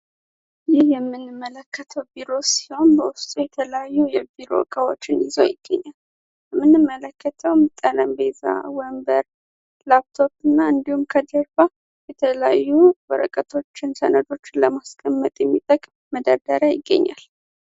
ይህ የምንመለከተው ቢሮ ሲሆን፤ በውስጡ የተላዩ የቢሮ እቃዎችን ይዞ ይገኛል። የምንመለከተውም ጠረጴዛዝ፣ ወንበር፣ ላፕቶዎት እና እንዲሁም ከጀርባ የተላዩ ወረቀቶችን ሰነዶች ለማስቀመጥ የሚጠቅም መደደረያ ይገኛል።